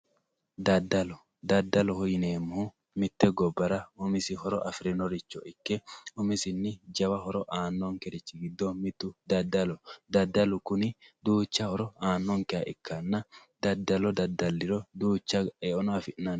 dadalo daddaloho yineemmohu mitte gobbara horo afirinoricho ikke umisinni jawa horo aannonkerichi giddo mittoho daddalu kuni duucha horo aannonkeha ikkanna dadalo daddalliro duucha eono afi'nanni